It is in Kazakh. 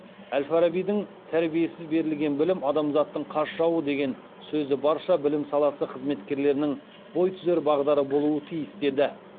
әл фарабидің тәрбиесіз берілген білім адамзаттың қас жауы деген сөзі барша білім саласы қызметкерлерінің бой түзер бағдары болуы тиіс деді